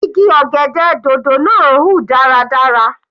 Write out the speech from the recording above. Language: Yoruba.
Igi ọ̀gẹ̀dẹ̀ dòdò náà ń hùn dáradára.